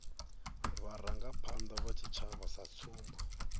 vharangaphanda vha tshitshavha sa tsumbo